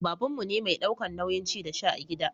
babanmu ne mai daukan nauyin ci da sha a gida